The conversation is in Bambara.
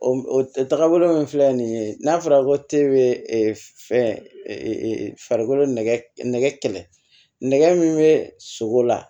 O o tagabolo min filɛ nin ye n'a fɔra ko fɛnko nɛgɛ kɛlɛ nɛgɛ min bɛ sogo la